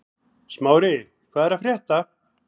Smári, hvað er að frétta?